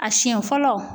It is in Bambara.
A siɲɛ fɔlɔ